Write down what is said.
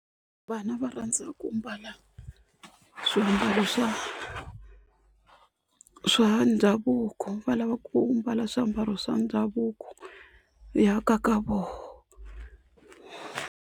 Vana va rhandza ku mbala swiambalo swa swa ndhavuko va lava ku mbala swiambalo swa ndhavuko ya kaka voho.